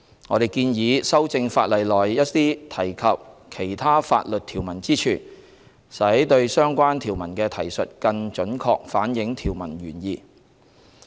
我們建議修正法例內一些提及其他法律條文之處，使對相關條文的提述更準確反映條文原意。